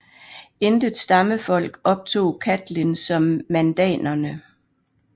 Intet stammefolk optog Catlin som mandanerne